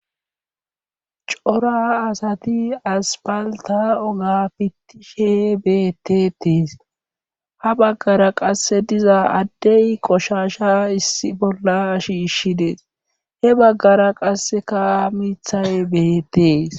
Cora asati aspalta oga fittishe beettetees ha baggara qasse diza addey qoshasha issi bolla shiishshidees he baggara qasse ka mithay bettees